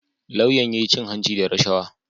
Lauyan ya cin hanci da rashawa